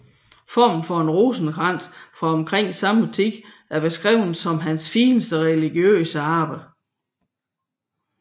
Formen for en stor rosenkrans fra omkring samme tid er blevet beskrevet som hans fineste religiøse arbejde